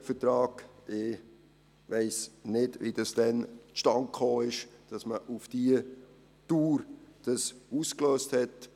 Ich weiss nicht, wie es damals zustande gekommen ist, dass man es auf diese Dauer ausgelöst hat.